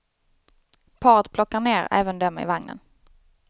Paret plockar ner även dem i vagnen.